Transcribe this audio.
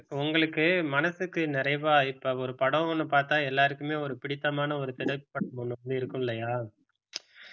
உங்களுக்கு மனசுக்கு நிறைவா இப்ப ஒரு படம் ஒண்ணு பார்த்தா எல்லாருக்குமே ஒரு பிடித்தமான ஒரு திரைப்படம் ஒண்ணு இருக்கும் இல்லையா